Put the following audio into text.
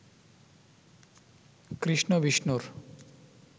কৃষ্ণ বিষ্ণুর